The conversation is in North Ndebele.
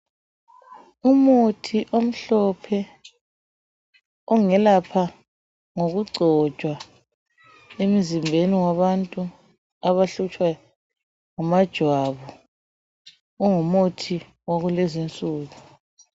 Umuthi omhlophe ongelapha ngokugcotshwa emzimbeni wabantu abahlutshwa ngamajwabu ungumuthi wakulezinsuku .